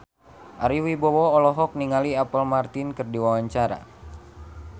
Ari Wibowo olohok ningali Apple Martin keur diwawancara